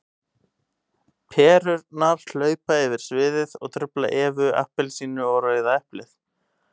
Perurnar hlaupa yfir sviðið og trufla Evu appelsínu og Rauða eplið.